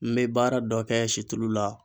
N bɛ baara dɔ kɛ situlu la.